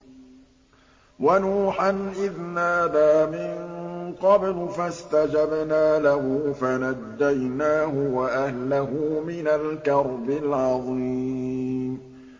وَنُوحًا إِذْ نَادَىٰ مِن قَبْلُ فَاسْتَجَبْنَا لَهُ فَنَجَّيْنَاهُ وَأَهْلَهُ مِنَ الْكَرْبِ الْعَظِيمِ